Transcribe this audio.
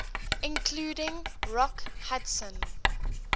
including rock hudson